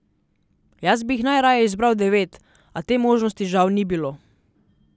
Jaz bi jih najraje izbral devet, a te možnosti žal ni bilo.